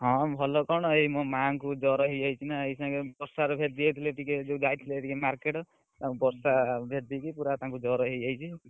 ହଁ, ଭଲ କଣ ଏଇ ମୋ ମାଙ୍କୁ ଜର ହେଇଯାଇଛି ନା ଏଖିନା ବର୍ଷା ରେ ଭେଦି ଯାଇଥିଲେ ଟିକେ ଯଉ ଯାଇଥିଲେ market ବର୍ଷା ରେ ଭେଦି କି ତାଙ୍କୁ ପୁରା ଜର ହେଇଯାଇଛି।